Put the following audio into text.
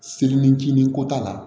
Seli ni jiginiko t'a la